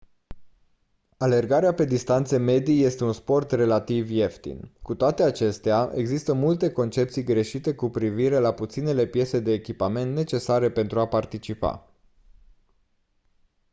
alergarea pe distanțe medii este un sport relativ ieftin cu toate acestea există multe concepții greșite cu privire la puținele piese de echipament necesare pentru a participa